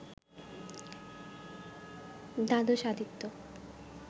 দ্বাদশ আদিত্য,